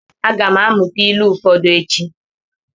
A ga m amụta ilu ụfọdụ echi.